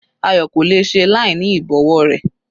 Ayo kò le è ṣe láìní ìbọ̀wọ́ rẹ̀.